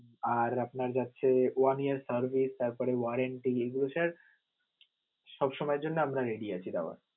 আর আপনার যাচ্ছে, one year service তারপরে warranty সব সময়ের জন্য আমরা ready আছি দেওয়ার.